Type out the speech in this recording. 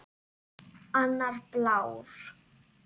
Annar blár.